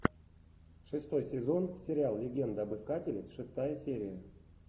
шестой сезон сериал легенда об искателе шестая серия